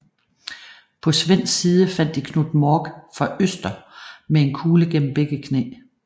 På svensk side fandt de Knut Mork fra Ørsta med en kugle gennem begge knæ